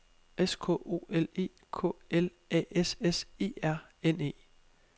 S K O L E K L A S S E R N E